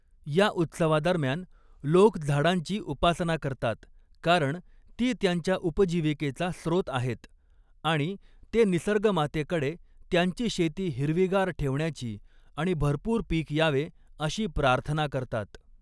या उत्सवादरम्यान, लोक झाडांची उपासना करतात, कारण ती त्यांच्या उपजीविकेचा स्रोत आहेत आणि ते निसर्गमातेकडे त्यांची शेती हिरवीगार ठेवण्याची आणि भरपूर पीक यावे अशी प्रार्थना करतात.